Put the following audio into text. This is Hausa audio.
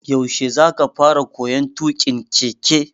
Yaushe za ka fara koyon tuƙin keke?